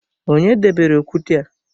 Onye debere okwute a?